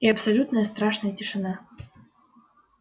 и абсолютная страшная тишина